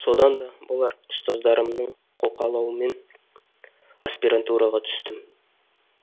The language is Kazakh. содан да болар ұстаздарымның қолқалауымен аспирантураға түстім